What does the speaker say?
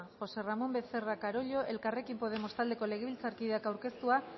josé ramón becerra carollo elkarrekin podemos taldeko legebiltzarkideak aurkeztua